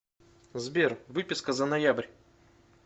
сбер выписка за ноябрь